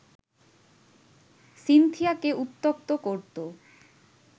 সিনথিয়াকে উত্ত্যক্ত করতো